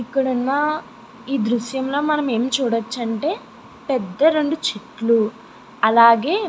ఇక్కడ ఉన్న ఈ దృశ్యం లో మనం ఎం చూడచ అంటే పెద్ద రెండు చెట్లు అలాగే --